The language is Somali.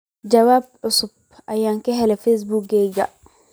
jawaabo cusub iga hel Facebook-gayga